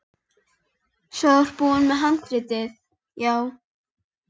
Í þessum tilvikum skerðist upphæð heildarhlutafjárins ekki.